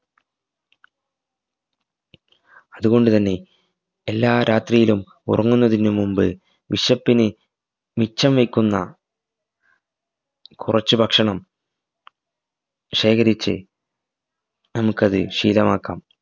അതുകൊണ്ടുതന്നെ എല്ലാ രാത്രിയിലും ഉറങ്ങുന്നതിനു മുമ്പ് വിശപ്പിന് മിച്ചം വെക്കുന്ന കൊറച് ഭക്ഷണം ശേഖരിച് നമുക്കത് ശീലമാക്കാം